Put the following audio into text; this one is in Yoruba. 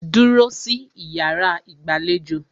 Dúró sí iyàrá ìgbàlejò!